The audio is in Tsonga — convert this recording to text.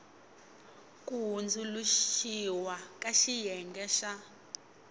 ku hundzuluxiwa ka xiyenge xa